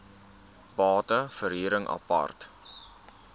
bate verhuring apart